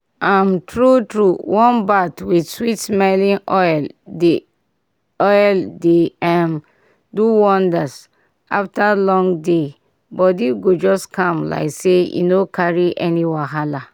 um true true warm bath with sweet-smelling oil dey oil dey um do wonders after long day body go just calm like say e no carry any wahala.